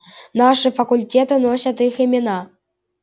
наши факультеты носят их имена